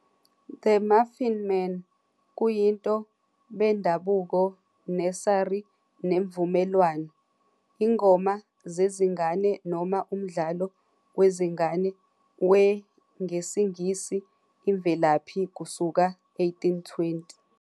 "The Muffin Man "kuyinto bendabuko nursery nemvumelwano, ingoma zezingane noma umdlalo wezingane we ngesiNgisi imvelaphi kusuka 1820.